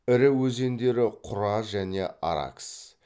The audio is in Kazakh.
ірі өзендері құра және аракс